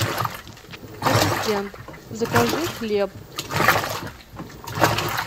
ассистент закажи хлеб